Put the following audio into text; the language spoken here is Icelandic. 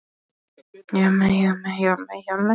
arar rólegu en þó spennuþrungnu stundar með kvenna